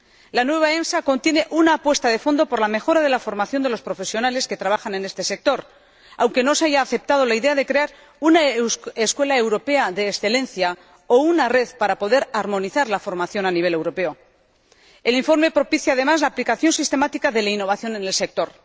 La nueva EMSA contiene una apuesta de fondo por la mejora de la formación de los profesionales que trabajan en este sector, aunque no se haya aceptado la idea de crear una escuela europea de excelencia o una red para poder armonizar la formación a nivel europeo. El informe propicia, además, la aplicación sistemática de la innovación en el sector.